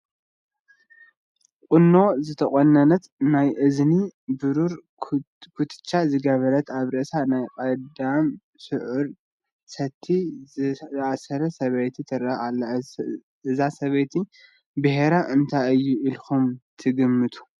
ቁኖ ዝተቖነነት፣ ናይ እዝኒ ብሩር ኩትቻ ዝገበረት፣ ኣብ ርእሳ ናይ ቀዳም ስዑር ሰቲ ዝኣሰረት ሰበይቲ ትርአ ኣላ፡፡ እዚ ሰበይቲ ብሄራ እንታይ እዩ ኢልኩም ትግምቱ?